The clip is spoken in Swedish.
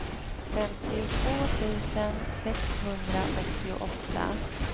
femtiotvå tusen sexhundraåttioåtta